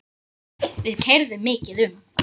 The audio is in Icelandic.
Við keyrðum mikið um.